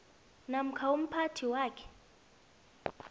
namkha umphathi wakhe